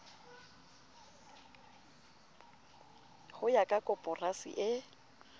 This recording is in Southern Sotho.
ho ya ka koporasi e